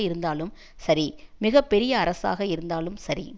இருந்தாலும் சரி மிக பெரிய அரசாக இருந்தாலும் சரி